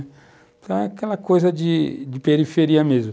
Então é aquela coisa de periferia mesmo.